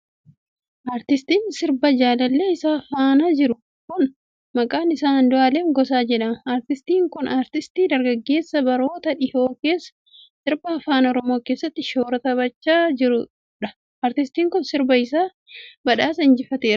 Artiistiin sirbaa jaalallee isaa faana jiru kun, maqaan isaa Andu'alem Gosaa jedhama. Aartistiin kun aartistii dargaggeessa baroota dhihoo keessa sirba afaan Oromoo keessatti shoora taphachaa jiruu dha. Aartistiin kun sirbi isaa ,badhaasa injifateera.